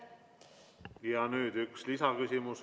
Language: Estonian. Ja nüüd üks lisaküsimus.